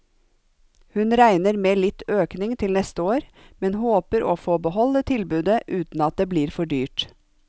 Hun regner med litt økning til neste år, men håper å få beholde tilbudet uten at det blir for dyrt.